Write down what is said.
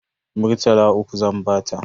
Murtala uku zan bata.